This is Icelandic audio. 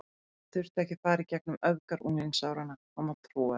Hann þurfti ekki að fara í gegnum öfgar unglingsáranna, hann var trúaður.